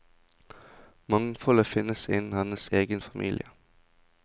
Mangfoldet finnes innen hennes egen familie.